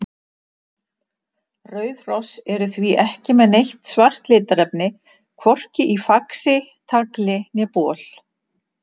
Rauð hross eru því ekki með neitt svart litarefni, hvorki í faxi, tagli né bol.